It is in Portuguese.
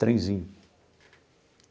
Trenzinho.